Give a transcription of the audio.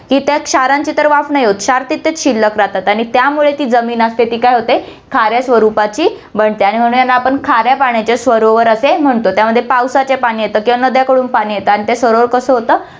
की त्या क्षारांची तर वाफ नाही होतं, क्षार तिथेच शिल्लक राहतात आणि त्यामुळे ती जमीन असते, ती काय होते ती खाऱ्या स्वरूपाची बनते आणि म्हणून यांना आपण खाऱ्या पाण्याचे सरोवर असे म्हणतो, त्यामध्ये पावसाचे पाणी येतं किंवा नद्यांकडून पाणी येतं आणि ते सरोवर कसं होतं